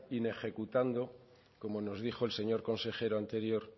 inejecutando como nos dijo el señor consejero anterior